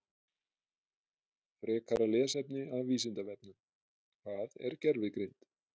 Frekara lesefni af Vísindavefnum: Hvað er gervigreind?